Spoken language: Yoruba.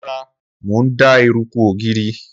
Rara, Mo n da eruku ogiri.